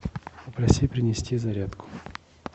попроси принести зарядку